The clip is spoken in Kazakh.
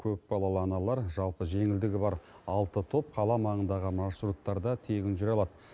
көпбалалы аналар жалпы жеңілдігі бар алты топ қала маңындағы маршруттарда тегін жүре алады